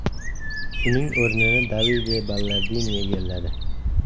Uning o‘rnini Davide Ballardini egalladi.